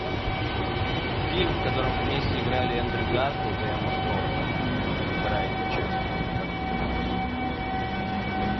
фильм в котором вместе играли эндрю гарфилд и эмма стоун вторая его часть как называлась